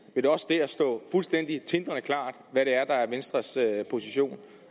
vil det også dér stå fuldstændig tindrende klart hvad det er der er venstres position